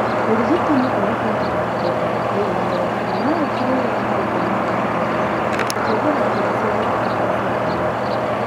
Ũrigitani ũringanaga na mũthemba wa AML na no ũkorũo wa maũndu aya marũmĩrĩre :kũhũthĩra njĩra cia gũtukania cia ndawa.